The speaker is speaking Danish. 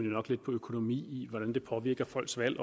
nok lidt på økonomien i hvordan det påvirker folks valg